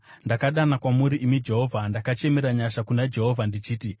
Ndakadana kwamuri, imi Jehovha; ndakachemera nyasha kuna Jehovha ndichiti,